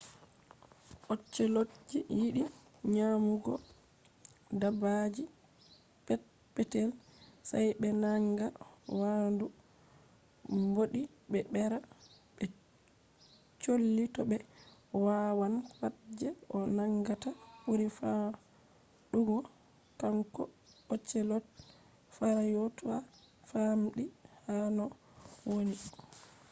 ocelotji yiɗi nyamugo dabaji pet-petel. sai ɓe naanga waandu mbodi be bera be colli to be wawan. pat je o nangata ɓuri famɗugo kanko ocelot farauta famɗi ha do no woni